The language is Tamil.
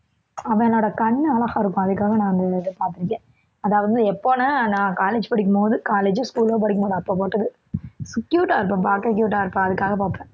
அவனோட கண்ணு அழகா இருக்கும் அதுக்காக நான் அந்த இதை பார்த்திருக்கேன் அதாவது எப்போன்னா நான் college படிக்கும்போது college ஓ school ஓ படிக்கும்போது அப்போ போட்டது cute ஆ இருப்பான் பார்க்க cute ஆ இருப்பான் அதுக்காகப் பார்ப்பேன்